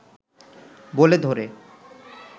বলে ধরে